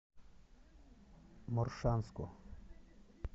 моршанску